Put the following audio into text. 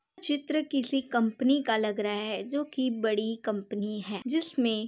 चित्र किसी कंपनी का लग रहा है जोकि बड़ी कंपनी है जिसमे --